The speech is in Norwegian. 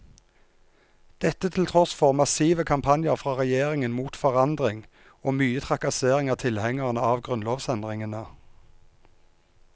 Dette til tross for massive kampanjer fra regjeringen mot forandring og mye trakassering av tilhengerne av grunnlovsendringene.